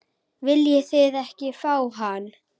Viljið þið ekki fá hann?